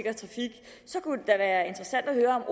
så kunne det da være interessant at høre om